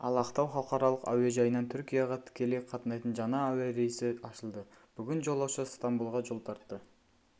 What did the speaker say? ал ақтау халықаралық әуежайынан түркияға тікелей қатынайтын жаңа әуе рейсі ашылды бүгін жолаушы ыстамбұлға жол тартты